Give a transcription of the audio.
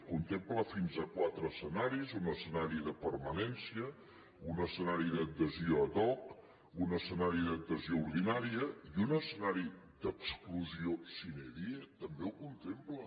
contempla fins a quatre escenaris un escenari de permanència un escenari d’adhesió ad hoc un escenari d’adhesió ordinària i un escenari d’exclusió sine dietambé ho contempla